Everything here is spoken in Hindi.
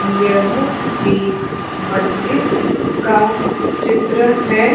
यह एक मंदिर का चित्र है।